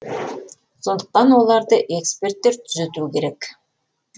сондықтан оларды эксперттер түзету керек